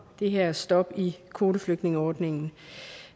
det her stop i kvoteflygtningeordningen